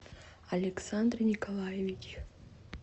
александр николаевич